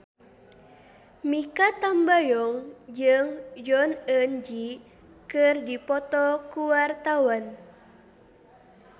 Mikha Tambayong jeung Jong Eun Ji keur dipoto ku wartawan